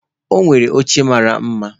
O nwere oche mara mma